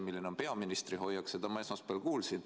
Milline on peaministri hoiak, seda ma esmaspäeval kuulsin.